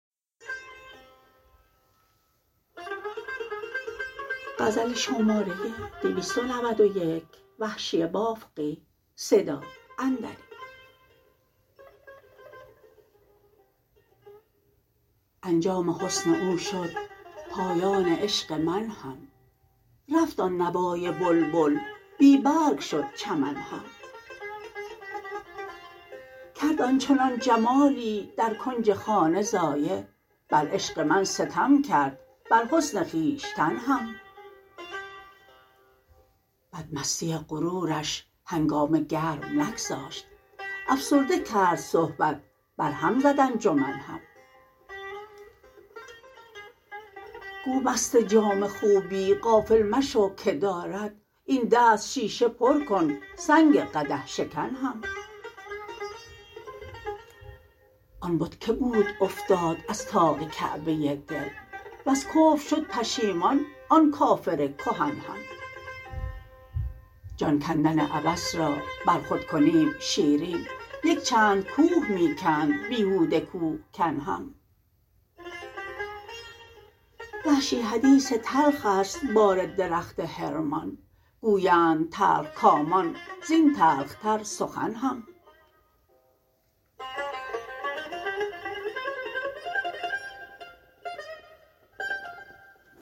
انجام حسن او شد پایان عشق من هم رفت آن نوای بلبل بی برگ شد چمن هم کرد آنچنان جمالی در کنج خانه ضایع بر عشق من ستم کرد بر حسن خویشتن هم بدمستی غرورش هنگامه گرم نگذاشت افسرده کرد صحبت بر هم زد انجمن هم گو مست جام خوبی غافل مشو که دارد این دست شیشه پر کن سنگ قدح شکن هم آن بت که بود افتاد از طاق کعبه دل وز کفر شد پشیمان آن کافر کهن هم جان کندن عبث را بر خود کنیم شیرین یکچند کوه می کند بیهوده کوهکن هم وحشی حدیث تلخست بار درخت حرمان گویند تلخ کامان زین تلختر سخن هم